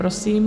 Prosím.